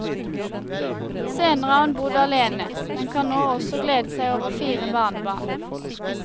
Senere har hun bodd alene, men kan nå også glede seg over fire barnebarn.